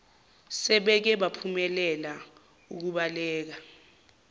sebeke baphumelela ukubaleka